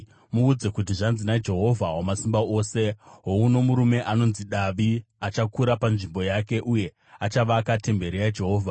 Muudze kuti zvanzi naJehovha Wamasimba Ose: ‘Houno murume anonzi Davi, achakura panzvimbo yake uye achavaka temberi yaJehovha.